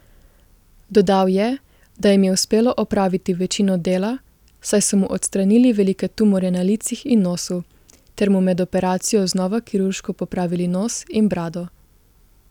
Dodal je, da jim je uspelo opraviti večino dela, saj so mu odstranili velike tumorje na licih in nosu ter mu med operacijo znova kirurško popravili nos in brado.